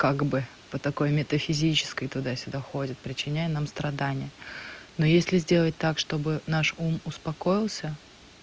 как бы по такой метафизической туда сюда ходит причиняя нам страдания но если сделать так чтобы наш ум успокоился